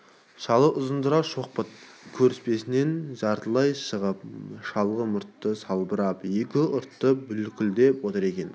шалы ұзынтұра шоқпыт көрпесінен жартылай шығып шалғы мұрты салбырап екі ұрты бүлкілдеп отыр екен